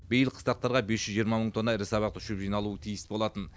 биыл қыстақтарға бес жүз жиырма мың тонна ірі сабақты шөп жиналуы тиіс болатын